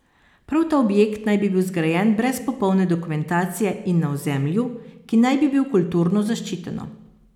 Prav ta objekt naj bi bil zgrajen brez popolne dokumentacije in na ozemlju, ki naj bi bil kulturno zaščiteno.